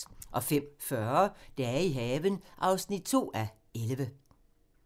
05:40: Dage i haven (2:11)